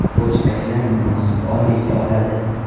Pochtachilar munosib oylik oladi.